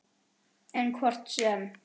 En hvort sem